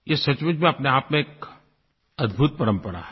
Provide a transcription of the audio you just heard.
ये सचमुच में अपने आप में एक अद्भुत परम्परा है